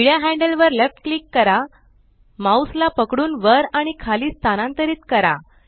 निळ्या हॅंडल वर left click करा माउस ला पकडून वर आणि खाली स्थानांतरित करा